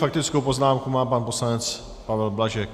Faktickou poznámku má pan poslanec Pavel Blažek.